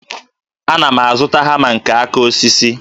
Ana m azụta hama nke aka osisi